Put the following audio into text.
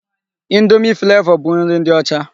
Indomi Flavọ bụ nri ndị ọcha.